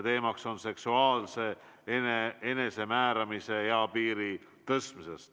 Teemaks on seksuaalse enesemääramise eapiiri tõstmine.